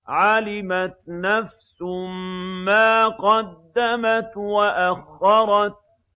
عَلِمَتْ نَفْسٌ مَّا قَدَّمَتْ وَأَخَّرَتْ